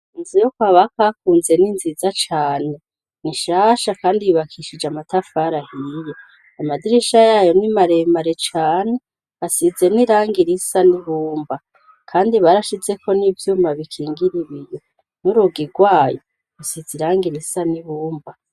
Inzu yo kwa bakakunze n'inziza cane nishasha kandi yubakishije amatafari ahiye amadirisha yayo n'imaremare cane hasize n'iranga risa n'ibumba kandi barashize ko n'ivyuma bikingira ibiye n'urugi rwayo isiza iranga irisa n'ihumba